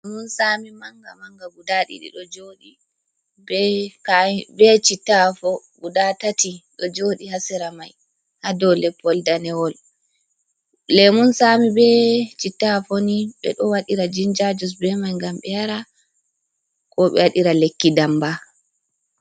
Lemun sami manga manga guda ɗiɗi ɗo joɗi be chitta afo guda tati do joɗi hasera mai, ha dou leppol danewol lemun sami be chitta afo ni ɓe ɗo waɗira jinja jus be mai gam be yara ko be wadira lekki damba.